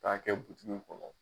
K'a kɛ w kɔnɔ